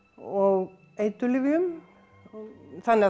og eiturlyfjum þannig að